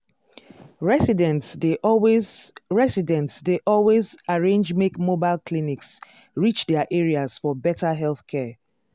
residents dey always residents dey always arrange make mobile clinics reach their areas for better healthcare.